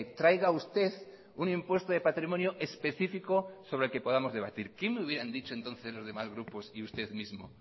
traiga usted un impuesto de patrimonio específico sobre el que podamos debatir qué me hubieran dicho entonces los demás grupos y usted mismo